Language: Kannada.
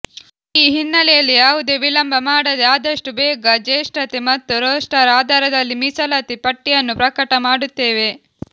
ಈ ಹಿನ್ನೆಲೆಯಲ್ಲಿ ಯಾವುದೇ ವಿಳಂಬ ಮಾಡದೆ ಆದಷ್ಟು ಬೇಗ ಜೇಷ್ಠತೆ ಮತ್ತು ರೋಸ್ಟರ್ ಆಧಾರದಲ್ಲಿ ಮೀಸಲಾತಿ ಪಟ್ಟಿಯನ್ನು ಪ್ರಕಟ ಮಾಡುತ್ತೇವೆ